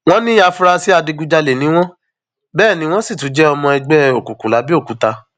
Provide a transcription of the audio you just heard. wọn ní àfúrásì adigunjalè ni wọn bẹẹ ni wọn sì tún jẹ ọmọ ẹgbẹ òkùnkùn làbẹọkúta